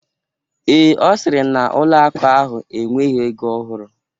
Ee, Ọ sịrị na ụlọ akụ ahụ enweghị ego ọhụrụ.